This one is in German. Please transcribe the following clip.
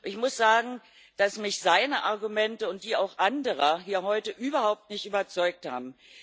Ich muss sagen, dass mich seine Argumente und auch die anderer hier heute überhaupt nicht überzeugt haben.